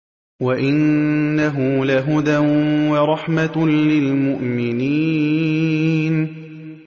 وَإِنَّهُ لَهُدًى وَرَحْمَةٌ لِّلْمُؤْمِنِينَ